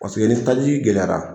Paseke ni taji gɛlɛyara.